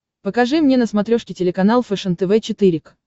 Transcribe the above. покажи мне на смотрешке телеканал фэшен тв четыре к